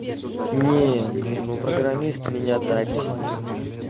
не ну программист меня так себе